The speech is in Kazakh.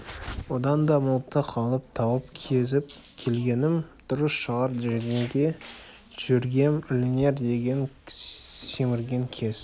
одан да мылтық алып тау кезіп келгенім дұрыс шығар жүргенге жөргем ілінер деген киік семірген кез